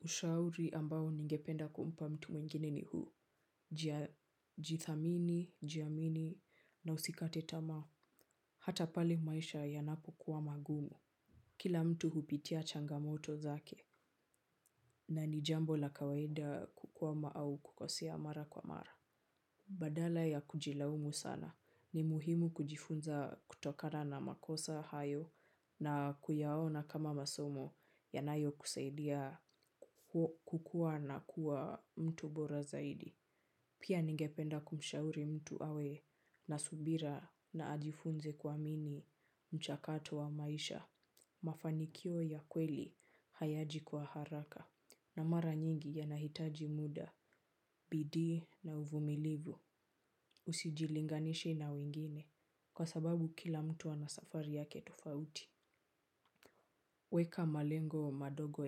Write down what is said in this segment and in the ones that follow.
Ushauri ambao ningependa kumpa mtu mwingine ni huu, jithamini, jiamini na usikate tamaa, hata pale maisha yanapokuwa magumu. Kila mtu hupitia changamoto zake na ni jambo la kawaida kukwama au kukosea mara kwa mara. Badala ya kujilaumu sana, ni muhimu kujifunza kutokana na makosa hayo na kuyaona kama masomo yanayo kusaidia kukua na kuwa mtu bora zaidi. Pia ningependa kumshauri mtu awe na subira na ajifunze kuamini mchakato wa maisha. Mafanikio ya kweli hayaji kwa haraka na mara nyingi yanahitaji muda. Bidii na uvumilivu. Usijilinganishe na wingine kwa sababu kila mtu ana safari yake tofauti. Weka malengo madogo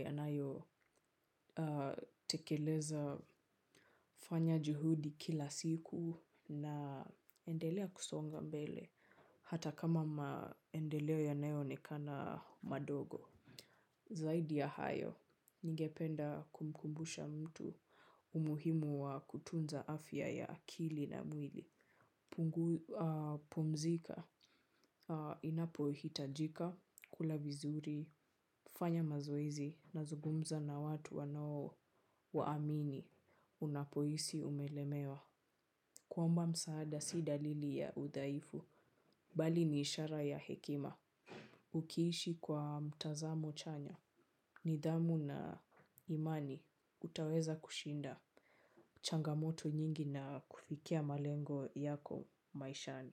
yanayotekeleza fanya juhudi kila siku na endelea kusonga mbele hata kama maendeleo yanayo onekana madogo. Zaidi ya hayo, nigependa kumkumbusha mtu umuhimu wa kutunza afya ya akili na mwili. Pumzika, inapohitajika, kula vizuri, fanya mazoezi na zungumza na watu wano waamini. Unapohisi umelemewa, kuomba msaada si dalili ya udhaifu bali ni ishara ya hekima ukiishi kwa mtazamo chanya nidhamu na imani, utaweza kushinda changamoto nyingi na kufikia malengo yako maishani.